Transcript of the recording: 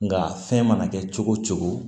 Nga fɛn mana kɛ cogo o cogo